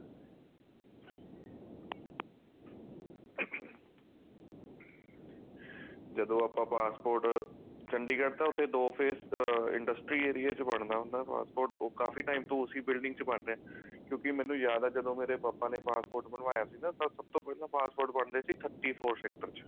ਜਦੋਂ ਆਪਾਂ passport ਚੰਡੀਗੜ ਤਨਾ ਉੱਥੇ ਦੋ faze industry area ਚ ਬਣਦਾ ਹੁੰਦਾ passport ਕਾਫੀ time ਤੋਂ ਉਸੀ building ਚ ਬਣ ਰਿਹਾ ਕਿਉਂਕੀ ਮੈਨੂੰ ਯਾਦ ਹੈ ਜਦੋਂ ਮੇਰੇ ਪਾਪਾ ਨੇ passport ਬਣਵਾਇਆ ਸੀ ਤਾਂ ਸਭ ਤੋਂ ਪਹਿਲਾਂ passport ਬਣਦੇ ਸੀ thirty four ਸੇਕ੍ਟਰ ਚ